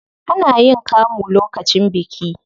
Ana yin kamu lokacin biki.